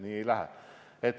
Nii ei lähe!